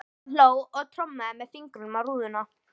Hann hló og trommaði með fingrunum á rúðuna.